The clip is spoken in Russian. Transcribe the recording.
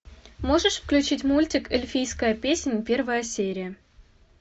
можешь включить мультик эльфийская песнь первая серия